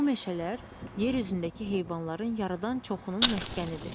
Bu meşələr yer üzündəki heyvanların yarıdan çoxunun məskənidir.